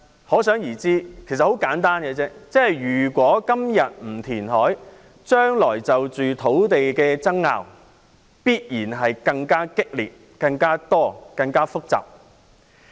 很簡單，如果今天不填海，將來就土地問題的爭拗必然會更激烈、更多和更複雜。